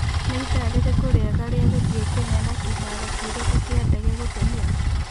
nĩ ĩthaa rĩrĩkũ rĩega rĩa gũthĩĩ Kenya na kĩharo kĩrĩkũ kia ndege gũtũmĩra